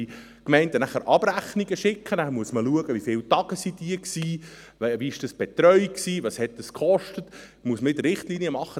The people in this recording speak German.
Die Gemeinden müssen Abrechnungen schicken, danach muss man schauen, wie viele Tage sie weg waren, wie dies betreut wurde, was dies gekostet hat, und es müssen wieder Richtlinien gemacht werden.